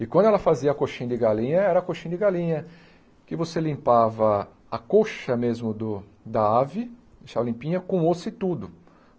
E quando ela fazia a coxinha de galinha, era a coxinha de galinha, que você limpava a coxa mesmo do da ave, deixava limpinha, com osso e tudo.